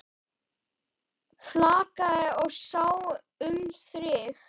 Flakaði og sá um þrif.